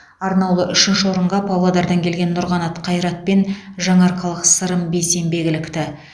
арнаулы үшінші орынға павлодардан келген нұрқанат қайрат пен жаңаарқалық сырым бейсенбек ілікті